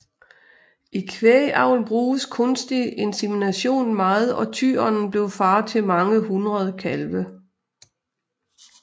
I kvægavl bruges kunstig insemination meget og tyren blev far til mange hundrede kalve